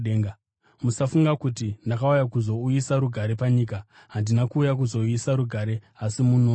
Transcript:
“Musafunga kuti ndakauya kuzouyisa rugare panyika. Handina kuuya kuzouyisa rugare asi munondo.